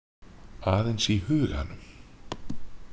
Aðeins í huganum.